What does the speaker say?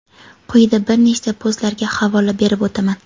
Quyida bir nechta postlarga havola berib o‘taman:.